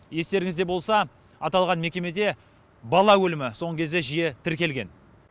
естеріңізде болса аталған мекемеде бала өлімі соңғы кезде жиі тіркелген